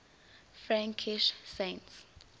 frankish saints